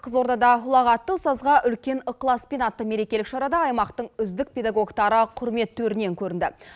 қызылордада ұлағатты ұстазға үлкен ықыласпен атты мерекелік шарада аймақтың үздік педагогтары құрмет төрінен көрінді